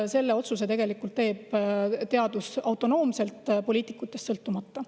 Selle otsuse teevad autonoomselt, poliitikutest sõltumata.